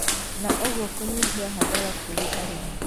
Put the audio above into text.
na ũguo kũnyihia hathara kũrĩ arĩmi.